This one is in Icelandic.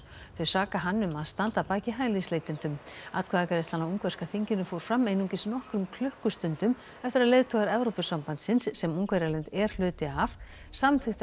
þau saka hann um að standa að baki hælisleitendum atkvæðagreiðslan á ungverska þinginu fór fram einungis nokkrum klukkustundum eftir að leiðtogar Evrópusambandsins sem Ungverjaland er hluti af samþykktu að